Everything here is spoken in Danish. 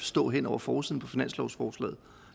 stå hen over forsiden på finanslovsforslaget